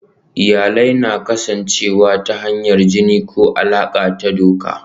Iyalai na iya kasancewa ta hanyar jini ko alaƙa ta doka.